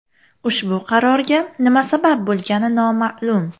Ushbu qarorga nima sabab bo‘lgani noma’lum.